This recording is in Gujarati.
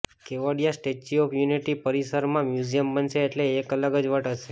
કેવડિયા સ્ટેચ્યુ ઓફ યુનિટી પરિસરમાં મ્યુઝિયમ બનશે એટલે એક અલગ જ વટ હશે